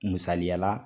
Misaliyala